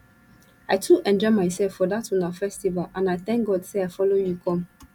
i too enjoy myself for dat una festival and i thank god say i follow you come